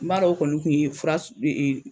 N b'a dɔn o kɔni kun ye fura